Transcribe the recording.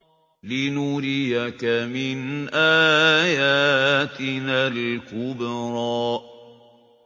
لِنُرِيَكَ مِنْ آيَاتِنَا الْكُبْرَى